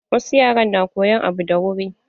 Wasu yaran na koyan abu da wuri.